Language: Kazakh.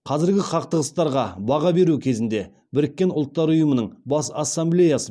қазіргі қақтығыстарға баға беру кезінде біріккен ұлттар ұйымының бас ассамблеясы